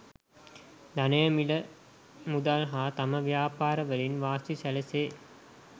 ධනය මිල මුදල් හා තම ව්‍යාපාර වලින් වාසි සැලසේ.